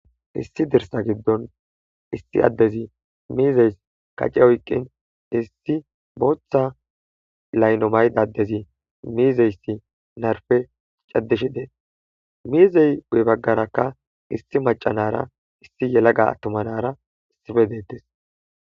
issi dirsa giddon issi addezi miizeys kace oyqqin issi booththa layno mayda adezi miizeyssi narfe caddishi dees miizey guye baggarakka issi macanara issi yelaga attumanara isife deettes